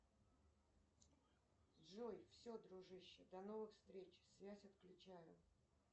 джой все дружище до новых встреч связь отключаю